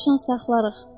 Dovşan saxlarıq.